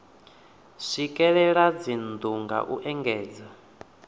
swikelela dzinnu nga u ekedza